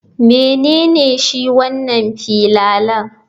Menene shi wanan filalan?